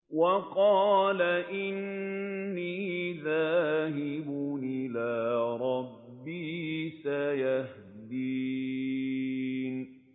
وَقَالَ إِنِّي ذَاهِبٌ إِلَىٰ رَبِّي سَيَهْدِينِ